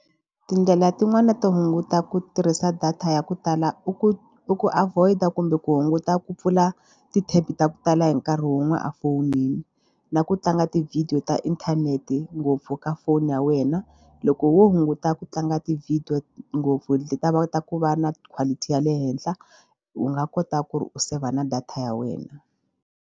Tindlela tin'wani to hunguta ku tirhisa data ya ku tala i ku i ku avoid-a kumbe ku hunguta ku pfula ti-tab ta ku tala hi nkarhi wun'we a fowuneli na ku tlanga tivhidiyo ta inthanete ngopfu ka foni ya wena. Loko wo hunguta ku tlanga ti-video ngopfu leta va kota ku va na quality ya le henhla u nga kota ku ri u saver na data ya wena.